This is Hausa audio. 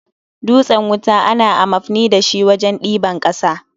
Dutsen wuta ana amafni da shi wajen yin daben ƙasa